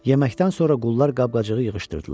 Yeməkdən sonra qullar qab-qacağı yığışdırdılar.